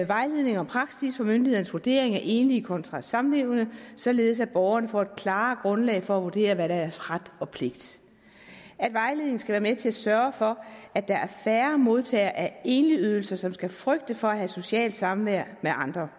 vejledning og praksis for myndighedernes vurdering af enlige kontra samlevende således at borgerne får et klarere grundlag for at vurdere hvad deres ret og pligt er vejledningen skal være med til at sørge for at der er færre modtagere af enligydelser som skal frygte for at have socialt samvær med andre